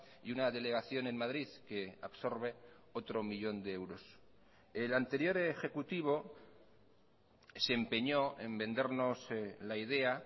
y una delegación en madrid que absorbe otro millón de euros el anterior ejecutivo se empeñó en vendernos la idea